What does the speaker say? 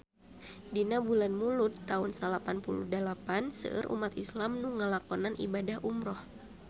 Dina bulan Mulud taun salapan puluh dalapan seueur umat islam nu ngalakonan ibadah umrah